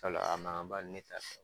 sabula a makanba ne t'a fɛ.